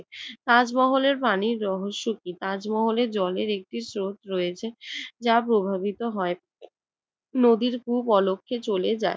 তাজমহলের পানির রহস্য কি? তাজমহলের জলের একটি স্রোত রয়েছে। যা প্রবাহিত হয়, নদীর খুব অলক্ষে চলে যায়।